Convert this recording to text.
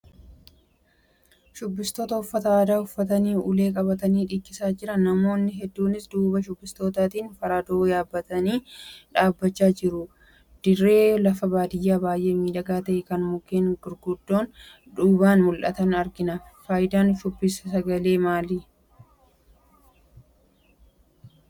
Shubbistoota uffata aadaa uffatanii ulee qabatanii dhiichisaa jiran. Namoonni hedduunis duuba shubbistootaatiin faradoo yaabbatanii dhaabachaa jiru. Dirree lafa baadiyaa baay'ee miidhagaa ta'e kan mukeen baargamoon duubaan mul'atan argina. Faayidaan shubbisni sagalee sirbaaf qabu maali?